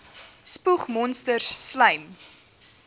spoeg monsters slym